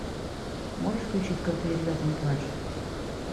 можешь включить крутые ребята не плачут